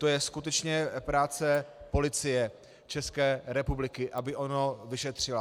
To je skutečně práce Policie České republiky, aby ono vyšetřila.